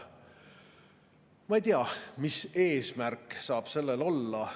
Ma ei tea, mis eesmärk saab sellel olla.